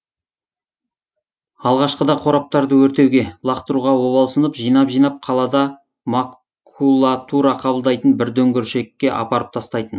алғашқыда қораптарды өртеуге лақтыруға обалсынып жинап жинап қалада макулатура қабылдайтын бір дүңгершекке апарып тастайтын